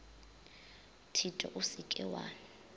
thito o se ke wa